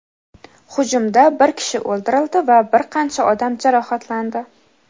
Hujumda bir kishi o‘ldirildi va bir qancha odam jarohatlandi.